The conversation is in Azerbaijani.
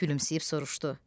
Gülümsəyib soruşdu: